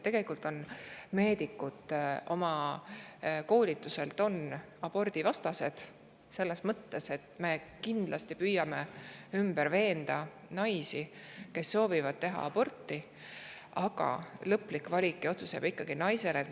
Tegelikult on meedikud oma koolituse poolest abordivastased, selles mõttes, et me püüame neid naisi, kes soovivad aborti teha, ümber veenda, aga lõplik valik või otsus jääb ikkagi naise teha.